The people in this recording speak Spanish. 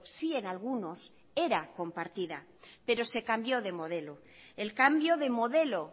sí en algunos era compartida pero se cambió de modelo el cambio de modelo